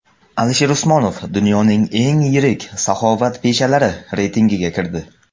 Alisher Usmonov dunyoning eng yirik saxovatpeshalari reytingiga kirdi.